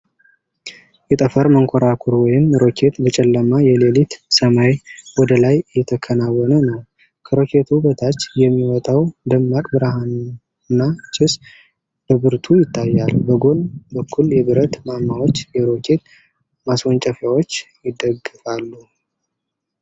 የጠፈር መንኮራኩር ወይም ሮኬት በጨለማ የሌሊት ሰማይ ወደ ላይ እየተከናወነ ነው። ከሮኬቱ በታች የሚወጣው ደማቅ ብርሃንና ጭስ በብርቱ ይታያል። በጎን በኩል የብረት ማማዎች የሮኬት ማስወንጨፊያውን ይደግፋሉ፡፡